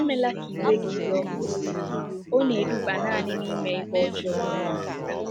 Emela ka iwe gị dị ọkụ, ọ na-eduba nanị n’ime ihe ọjọọ.